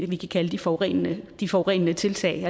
vi kan kalde de forurenende de forurenende tiltag